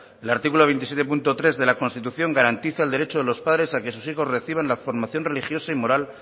el artículo veintisiete punto tres de la constitución garantiza el derecho de los padres a que sus hijos reciban la formación religiosa y moral